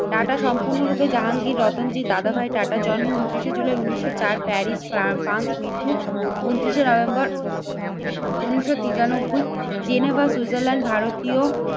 Tata সম্পূর্ণরূপে জাহাঙ্গীর রতনজির দাদাভাই টাটা জন্ম ঊনত্রিশে শে জুলাই উন্নিশশো চার প্যারিস ফ্রান্স। মৃত্যু ঊনত্রিশে শে নভেম্বর উন্নিশশো তিরানব্বই জেনেভা সুইজারল্যান্ড ভারতীয়